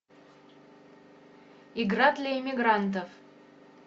игра для эмигрантов